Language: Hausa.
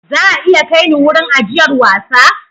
Za a iya kai ni wurin ajiyar wasa?